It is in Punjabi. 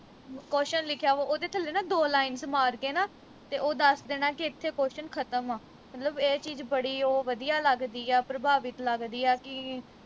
question ਲਿਖਿਆ ਵਾ ਉਹਦੇ ਥੱਲੇ ਨਾ ਦੋ lines ਮਾਰ ਕੇ ਨਾ ਤੇ ਉਹ ਦੱਸ ਦੇਣਾ ਕਿ ਇਥੇ question ਖਤਮ ਆ ਮਤਲਬ ਇਹ ਚੀਜ ਬੜੀ ਓ ਵਧੀਆ ਲੱਗਦੀ ਆ ਪ੍ਰਭਾਵਿਤ ਲੱਗਦੀ ਆ ਕਿ